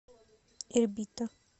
ирбита